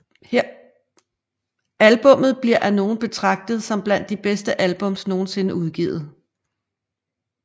Albummet bliver af nogen betragtet som blandt de bedste albums nogensinde udgivet